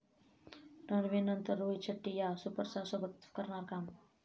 रणवीरनंतर रोहित शेट्टी 'या' सुपरस्टारसोबत करणार काम